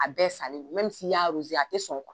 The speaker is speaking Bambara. A bɛɛ salen don n'i y'a a ti sɔn